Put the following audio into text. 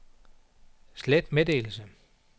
slet meddelelse